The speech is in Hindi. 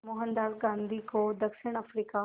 मोहनदास गांधी को दक्षिण अफ्रीका